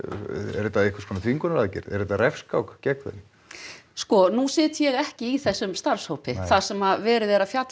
er þetta einhvers konar þvingunaraðgerð refskák gegn þeim sko nú sit ég ekki í þessum starfshópi þar sem verið er að fjalla